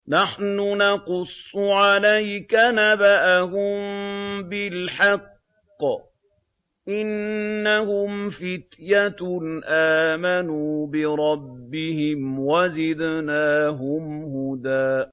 نَّحْنُ نَقُصُّ عَلَيْكَ نَبَأَهُم بِالْحَقِّ ۚ إِنَّهُمْ فِتْيَةٌ آمَنُوا بِرَبِّهِمْ وَزِدْنَاهُمْ هُدًى